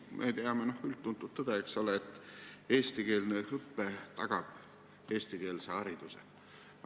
Me teame üldtuntud tõde, et eestikeelne õpe tagab eestikeelse hariduse.